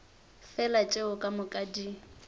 fela tšeo ka moka di